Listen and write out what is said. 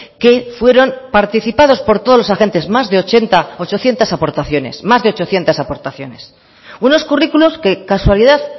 que fueron participados por todos los agentes más de ochenta ochocientos aportaciones más de ochocientos aportaciones unos currículos que casualidad